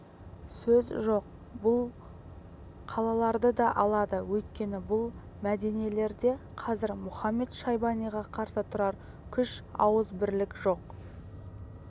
сөз жоқ ол бұл қалаларды да алады өйткені бұл мединелерде қазір мұхамед-шайбаниға қарсы тұрар күш ауыз бірлік жоқ